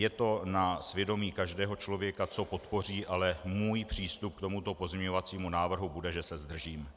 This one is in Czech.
Je to na svědomí každého člověka, co podpoří, ale můj přístup k tomuto pozměňovacímu návrhu bude, že se zdržím.